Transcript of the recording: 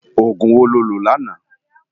Ógún wó ló lö làná?